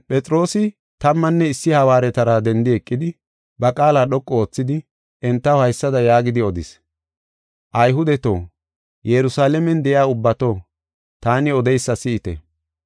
Shin Phexroosi, tammanne issi hawaaretara dendi eqidi, ba qaala dhoqu oothidi, entaw haysada yaagidi odis: “Ayhudeto, Yerusalaamen de7iya ubbato, taani odeysa si7ite.